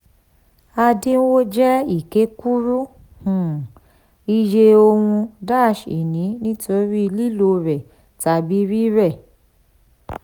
àdínwó jẹ́ ìkékúrú um iye ohun-ìní nítorí lílò rẹ̀ tàbí rírẹ̀.